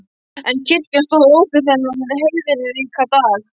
En kirkjan stóð opin þennan heiðríka dag.